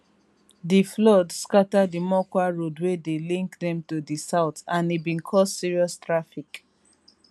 di flood scata di mokwa road wey dey link dem to di south and e bin cause serious traffic